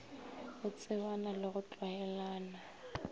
o tsebana le go tlwaelana